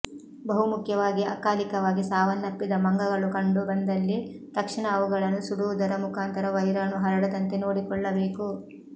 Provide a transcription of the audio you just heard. ಬಹು ಮುಖ್ಯವಾಗಿ ಅಕಾಲಿಕವಾಗಿ ಸಾವನ್ನಪ್ಪಿದ ಮಂಗಗಳು ಕಂಡು ಬಂದಲ್ಲಿ ತಕ್ಷಣ ಅವುಗಳನ್ನು ಸುಡುವುದರ ಮುಖಾಂತರ ವೈರಾಣು ಹರಡದಂತೆ ನೋಡಿಕೊಳ್ಳಬೇಕು